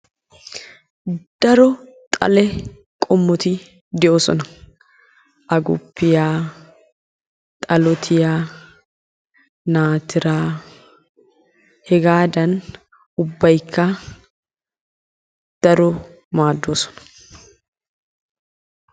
Daro xalle qommoti de'osona. Agguppiya, xalootiya, naatira hegaadan ubbaykka daro maaddosona.